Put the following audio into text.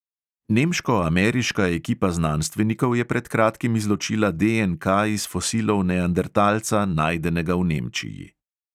Nemško-ameriška ekipa znanstvenikov je pred kratkim izločila DNK iz fosilov neandertalca, najdenega v nemčiji.